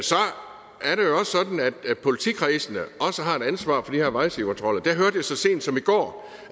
politikredsene også har et ansvar for de her vejsidekontroller og så sent som i går